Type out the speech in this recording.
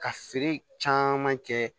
Ka feere caman kɛ